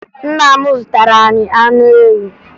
Nna m zụtara anyị anụ ewu